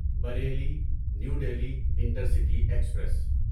Bareilly new Delhi intercity express